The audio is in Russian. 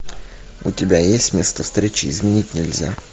у тебя есть место встречи изменить нельзя